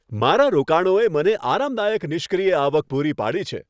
મારા રોકાણોએ મને આરામદાયક નિષ્ક્રિય આવક પૂરી પાડી છે.